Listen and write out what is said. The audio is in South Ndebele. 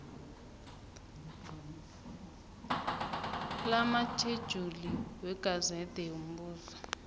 lamatjhejuli wegazede yombuso